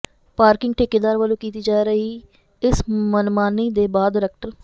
parking ਠੇਕੇਦਾਰ ਵੱਲੋਂ ਕੀਤੀ ਜਾ ਰਹੀ ਇਸ ਮਨਮਾਨੀ ਦੇ ਬਾਅਦ ਡਾ